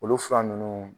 Olu fura ninnu